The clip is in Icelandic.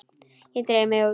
Ég dreif mig út.